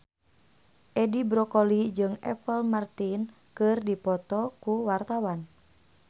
Edi Brokoli jeung Apple Martin keur dipoto ku wartawan